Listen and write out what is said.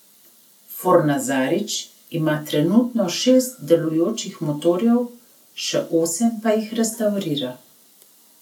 Fornazarič ima trenutno šest delujočih motorjev, še osem pa jih restavrira.